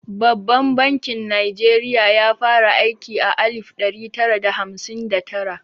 Babban bankin Najeriya ya fara aiki a alif ɗari tara da hamsin da tara.